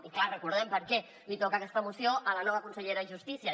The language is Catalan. i clar recordem per què li toca aquesta moció a la nova consellera de justícia